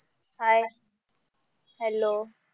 hi hello